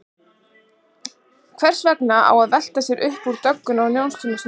Hvers vegna á að velta sér upp úr dögginni á Jónsmessunótt?